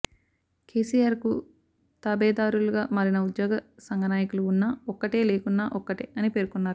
కేసీఆర్ కు తాబేదారులుగా మారిన ఉద్యోగసంఘ నాయకులు ఉన్నా ఒక్కటే లేకున్నా ఒక్కటే అని పేర్కొన్నారు